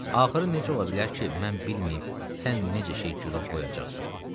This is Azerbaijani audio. Axırı necə ola bilər ki, mən bilməyim sən necə şey girov qoyacaqsan?